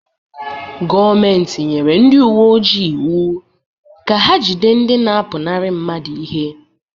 Gọọmenti nyere ndị uwe ojii iwu ka ha jide ndị na-apụnara mmadụ ihe.